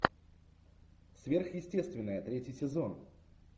сверхъестественное третий сезон